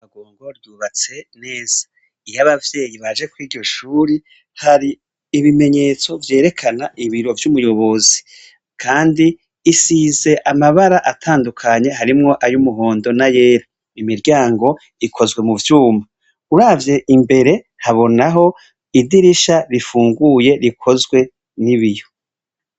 Agongo ryubatse neza iyo abavyeyi baje ko iryo shuri hari ibimenyetso vyerekana ibiro vy'umuyobozi, kandi isize amabara atandukanye harimwo ayo umuhondo na yera imiryango ikozwe mu vyumba uravye imbere habonaho idirisha rifue unguye rikozwe n'ibiyo.